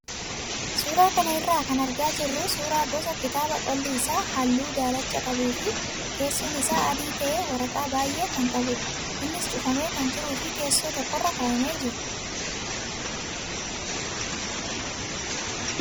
Suuraa kana irraa kan argaa jirru suuraa gosa kitaabaa qolli isaa halluu daalacha qabuu fi keessoon isaa adii ta'ee waraqaa baay'ee kan qabudha. Innis cufamee kan jiruu fi teessoo tokkorra kaa'amee jira.